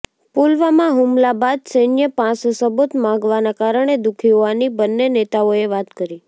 પુલવામા હુમલા બાદ સૈન્ય પાસે સબૂત માગવાના કારણે દુખી હોવાની બન્ને નેતાઓએ વાત કરી